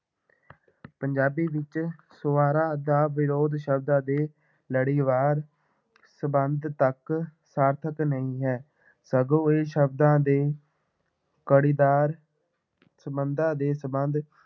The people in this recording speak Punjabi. ਪੰਜਾਬੀ ਵਿੱਚ ਸਵਰਾਂ ਦਾ ਵਿਰੋਧ ਸ਼ਬਦ ਅਤੇ ਲੜੀਵਾਰ ਸੰਬੰਧ ਤੱਕ ਸਾਰਥਕ ਨਹੀਂ ਹੈ, ਸਗੋਂ ਇਹ ਸ਼ਬਦਾਂ ਦੇ ਕੜੀਦਾਰ ਸੰਬੰਧਾਂ ਦੇ ਸੰਬੰਧ